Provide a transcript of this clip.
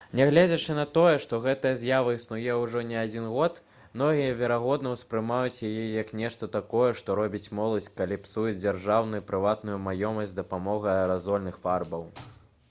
нягледзячы на тое што гэтая з'ява існуе ўжо не адзін год многія верагодна успрымаюць яе як нешта такое што робіць моладзь калі псуе дзяржаўную і прыватную маёмасць з дапамогай аэразольных фарбаў